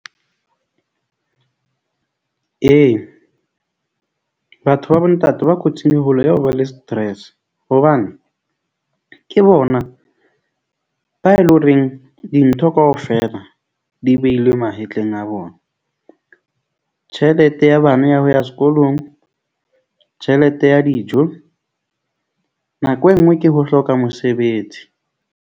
Ee, batho ba bo ntate ba kotsing e holo ya ho ba le stress hobane ke bona ba e leng horeng, dintho kaofela di behilwe mahetleng a bona. Tjhelete ya bana ya ho ya sekolong. Tjhelete ya dijo nako e nngwe ke ho hloka mosebetsi.